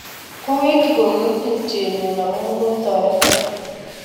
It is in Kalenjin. Kwawekchi kongoi tupchennyu amun kotoreton